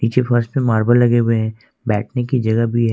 नीचे फर्श पे मार्बल लगे हुए हैं बैठने की जगह भी है।